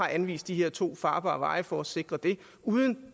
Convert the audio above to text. anvist de her to farbare veje for at sikre det uden